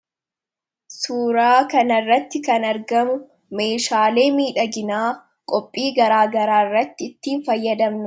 Suuraa kana irratti kan argamu meeshaalee miidhaginaa qophii garaagaraa irratti ittiin fayyadamnu.